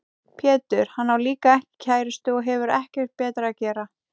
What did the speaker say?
Pétur: Hann á líka ekki kærustu og hefur ekkert betra að gera.